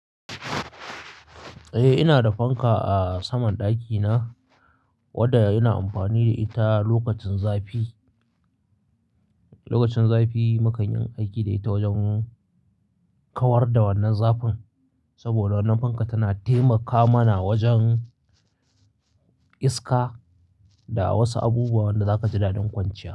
Eh, ina da fanka a saman ɗakina wadda ina amfani da ita lokacin zafi. Lokacin zafi mukanyi aiki da ita wajen kawar da wannan zafin saboda wannan fanka tana taimaka mana wajen iska da wasu abubuwan da zaka ji daɗin kwanciya.